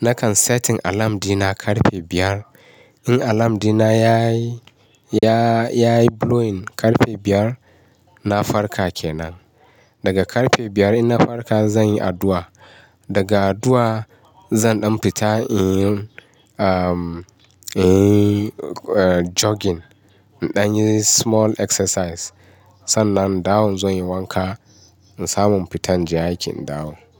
Nakan setting alarm dina ƙarfe biyar. In alarm dina yayi, yayi blowing ƙarfe biyar, na farka kenan. Daga ƙarfe biyar in na farka zan yi addu'a, daga addu'a zan ɗan fita inyi, inyi jogging. In ɗan yi small exercise. Sannan in dawo in zo in yi wanka, in samu fita in je aiki in dawo.